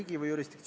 Aitäh!